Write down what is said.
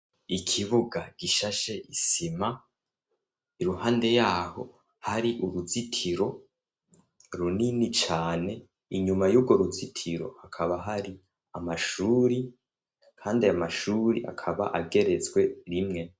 Ikibuga gishashe isima iruhande yaho hari uruzitiro runini cane inyuma y'urwo ruzitiro hakaba hari amashuri, kandi amashuri akaba ageretswe rimwe.